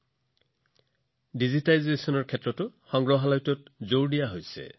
সংগ্ৰহালয়সমূহত ডিজিটাইজেচনৰ ওপৰতো গুৰুত্ব বৃদ্ধি পাইছে